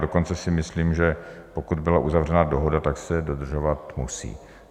Dokonce si myslím, že pokud byla uzavřena dohoda, tak se dodržovat musí.